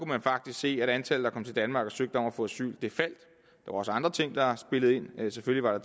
man faktisk se at antallet der kom til danmark og søgte om at få asyl faldt der var også andre ting der spillede ind selvfølgelig var